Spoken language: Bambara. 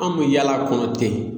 An bɛ yaala a kɔnɔ ten.